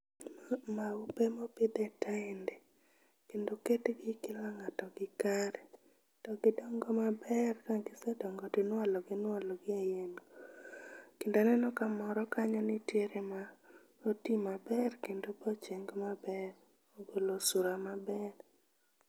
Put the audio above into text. Maupe mopidh e taende kendo oketgi kila ng'ato gi kare. To gidongo maber ka gisedongo to inualogi inualogi e yien. Kendo aneno ka moro kanyo nitiere ma oti maber kendo maber kendo ogolo sura maber.